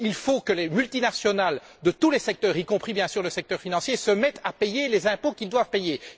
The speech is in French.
Il faut que les multinationales de tous les secteurs, y compris, bien sûr, le secteur financier, se mettent à payer les impôts qu'elles doivent payer.